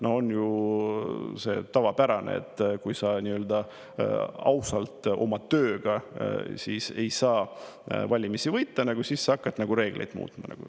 See on ju tavapärane, et kui sa ausalt oma tööga ei saa valimisi võita, siis sa hakkad reegleid muutma.